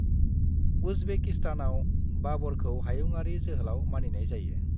उज्बेकिस्तानआव बाबरखौ हायुङारि जोहोलाव मानिनाय जायो।